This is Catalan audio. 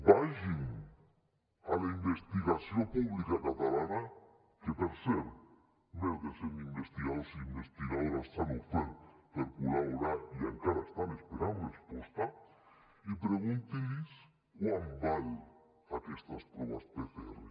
vagin a la investigació pública catalana que per cert més de cent investigadors i investigadores s’han ofert per col·laborar i encara estan esperant resposta i preguntin los quant valen aquestes proves pcr